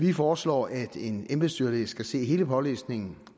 vi foreslår at en embedsdyrlæge skal se hele pålæsningen